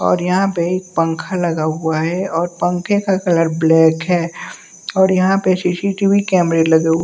और यहां पे पंखा लगा हुआ है और पंखे का कलर ब्लैक है और यहां पे सी_सी_टी_वी कैमरे लगे हु--